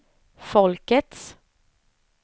folkets